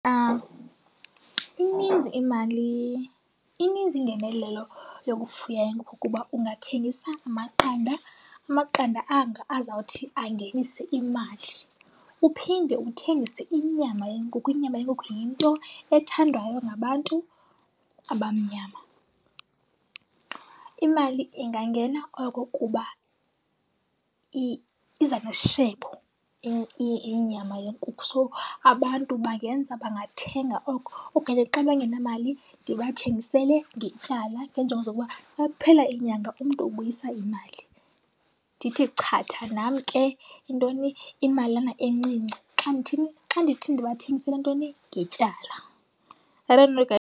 Ininzi imali, ininzi ingenelelo yokufuya inkukhu kuba ungathengisa amaqanda, amaqanda anga azawuthi angenise imali. Uphinde uthengise inyama yenkukhu, inyama yenkukhu yinto ethandwayo ngabantu abamnyama. Imali ingangena oko kuba iza nesishebo inyama yenkukhu. So, abantu bangenza bangathenga oko. Okanye xa bengenamali ndibathengisele ngetyala ngeenjongo zokuba xa kuphela inyanga umntu ubuyisa imali. Ndithi chatha nam ke intoni? Imalana encinci, xa ndithini? Xa ndithi ndibathengisele ntoni ngetyala. I don't know guys.